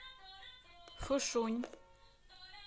фушунь